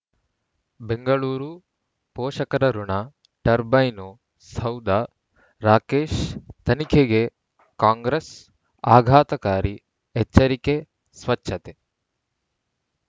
ಬೆಂಗಳೂರು ಪೋಷಕರಋಣ ಟರ್ಬೈನು ಸೌಧ ರಾಕೇಶ್ ತನಿಖೆಗೆ ಕಾಂಗ್ರೆಸ್ ಆಘಾತಕಾರಿ ಎಚ್ಚರಿಕೆ ಸ್ವಚ್ಛತೆ